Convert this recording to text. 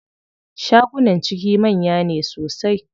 Shagunan ciki manya ne sosai.